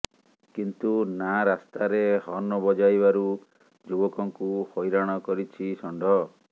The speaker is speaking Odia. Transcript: କିନ୍ତୁ ନା ରାସ୍ତାରେ ହର୍ଣ୍ଣ ବଜାଇବାରୁ ଯୁବକଙ୍କୁ ହଇରାଣ କରିଛି ଷଣ୍ଢ